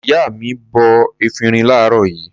Ìyá mi bọ efirin láàárọ̀ yìí.